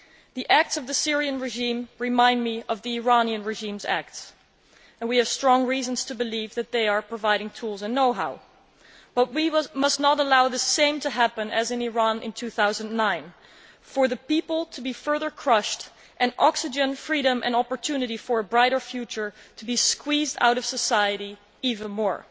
The acts of the Syrian regime remind me of the Iranian regime's acts, and we have strong reasons to believe that they are providing tools and know how, but we must not allow the same to happen as in Iran in 2009 for the people to be further crushed and oxygen, freedom and opportunity for a brighter future to be squeezed out of society even more.